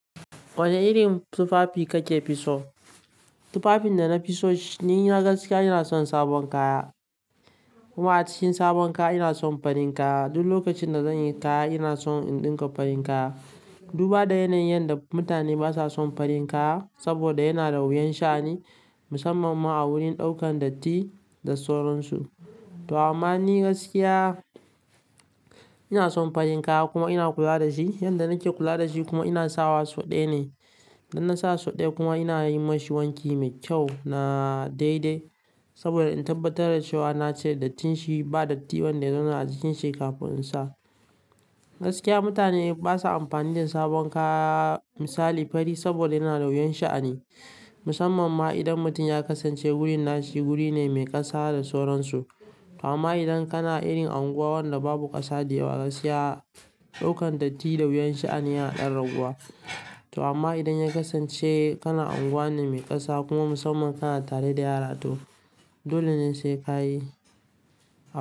Wane irin tufafi ka ke fisso? Tufafin da na fiso ni ma gaskiya ina son sabon kaya. Kuma a cikin sabon kaya ina son farin kaya. Duk lokacin da zan yi kaya ina son in ɗinka farin kaya. Duba da yanayin yadda mutane basa son farin kaya saboda yana da wuyan sha'ani musamman ma a wurin ɗaukan datti da sauransu. To amma ni gaskiya ina son farin kaya kuma ina kula da shi. Yanda nake kula da shi kuma ina sawa so dai ne. Idan nasa so dai kuma ina yi ma shi wanki mai kyau na daidai saboda in tabbatar da cewa na cire dattin shi, ba datti wanda ya zauna a jikin shi kafin in sa. Gaskiya mutane basa amfani da sabon kaya misali fari saboda yana da wuyan sha'ani. Musamman ma idan mutum ya kasance wurin nashi wuri ne mai ƙasa da sauransu. Amma idan kana irin unguwa wanda babu ƙasa da yawa gaskiya ɗaukan datti da wuyan sha'ani yana ɗan raguwa. To amma idan ya kasance kana unguwa ne mai ƙasa kuma musamman kana tare da yara to dole ne sai ka yi.